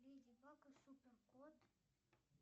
леди баг и супер кот